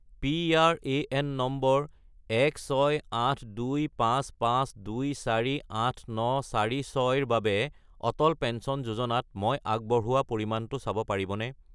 PRAN number 168255248946 -ৰ বাবে Atal pension যোজনাত মই আগবঢ়োৱা পৰিমাণটো চাব পাৰিবনে?